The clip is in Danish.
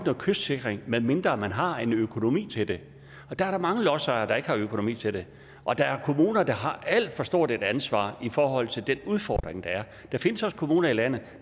kystsikring medmindre man har økonomien til det der er mange lodsejere der ikke har økonomi til det og der er kommuner der har alt for stort et ansvar i forhold til den udfordring der er der findes også kommuner i landet